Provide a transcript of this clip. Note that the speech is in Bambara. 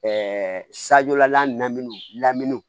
Ɛɛ sajɔlamunw lamini